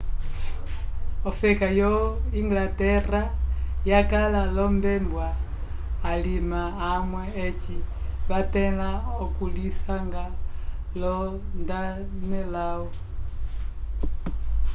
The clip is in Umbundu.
ofeka yo inglaterra yakala lombebwa alima amwe eci vathẽla okulisanga lo danelaw